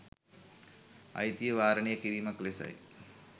අයිතිය වාරණය කිරීමක් ලෙසයි